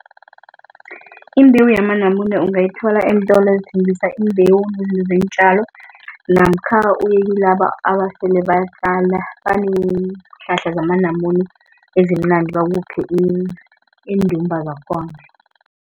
Imbewu yamanamune ungayithola eentolo ezithengisa imbewu nezinto zeentjalo, namkha uyekilaba abasele batjala banenhlahla zamanamune ezimnandi bakuphe iindumba zakhona.